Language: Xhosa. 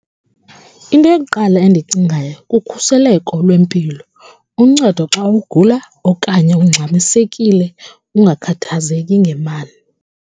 Into yokuqala endiyicingayo kukhuseleko lwempilo, uncedo xa ugula okanye ungxamisekile ungakhathazeki ngemali.